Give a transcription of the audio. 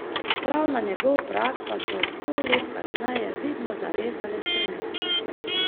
Prav na njegov prag pa so sto let kasneje vidno zarezale spremembe.